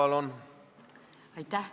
Aitäh!